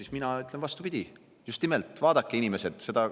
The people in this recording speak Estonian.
Aga mina ütlen vastupidi: just nimelt vaadake, inimesed.